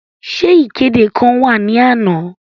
Ṣe ikede kan wa ni ana?